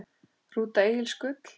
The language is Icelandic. Rúta Egils Gull